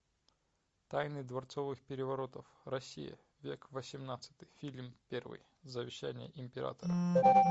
тайны дворцовых переворотов россия век восемнадцатый фильм первый завещание императора